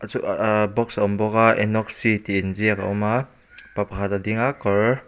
chu ah ahh box a awm bawk a enoxi tih inziak a awma pa pakhat a ding a kawr--